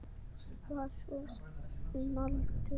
Var svo um aldir.